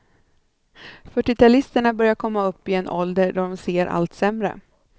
Fyrtiotalisterna börjar komma upp i en ålder, då de ser allt sämre.